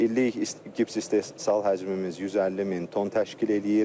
İllik gips istehsal həcmimiz 150000 ton təşkil eləyir.